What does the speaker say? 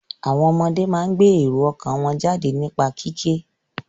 Àwọn ọmọdé máa ń gbé èrò ọkàn wọ́n jáde nípa kíké.